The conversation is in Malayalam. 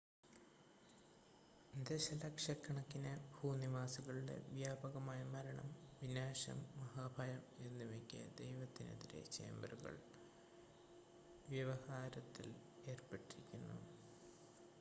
"ദശലക്ഷക്കണക്കിന് "ഭൂനിവാസികളുടെ വ്യാപകമായ മരണം വിനാശം മഹാഭയം" എന്നിവയ്ക്ക് ദൈവത്തിനെതിരെ ചേംബറുകൾ വ്യവഹാരത്തിൽ ഏർപ്പെട്ടിരുന്നു.